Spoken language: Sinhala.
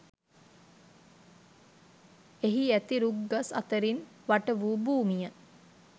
එහි ඇති රුක් ගස් අතරින් වටවූ භූමිය